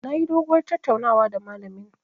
Nayi doguwar tattaunawa da malamin.